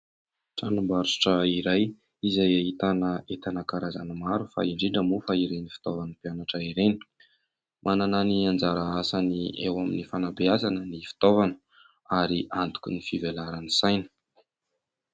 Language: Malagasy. Tranombarotra iray, izay ahitana entana karazany maro, fa indrindra moa fa ireny fitaovan'ny mpianatra ireny. Manana ny anjara asany eo amin'ny fanabeazana ny fitaovana, ary antoky y fivelaran'ny saina.